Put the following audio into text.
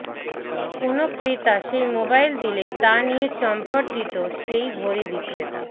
কোনও ক্রেতা সেই মোবাইল দিলে তা নিয়ে চম্পট দিত সেই ঘড়ি বিক্রেতা